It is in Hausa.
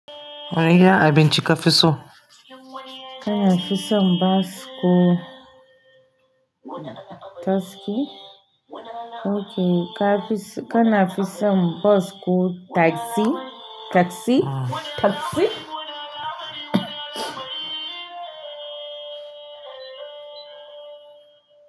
Wani iya abinci ka fi so? Kana fison bas ko taski? Oke kana fison bas ko tagsi, tagsi, tagsi?